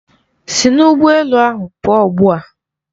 Si n'ụgbọ elu ahụ pụọ ugbua!